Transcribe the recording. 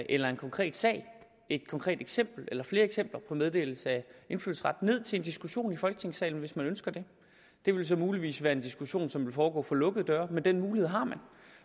eller en konkret sag et konkret eksempel eller flere eksempler på meddelelse af indfødsret ned til en diskussion i folketingssalen hvis man ønsker det det vil så muligvis være en diskussion som vil foregå for lukkede døre men den mulighed har